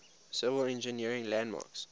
civil engineering landmarks